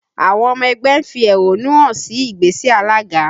Àwọn ọmọ ẹgbẹ́ ń fi ẹ́hónú hàn sí ìgbésẹ̀ alága